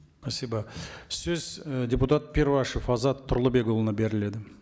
спасибо сөз і депутат перуашев азат тұрлыбекұлына беріледі